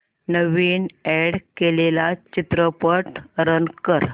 नवीन add केलेला चित्रपट run कर